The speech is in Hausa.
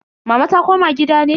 Mama ta koma gida ne?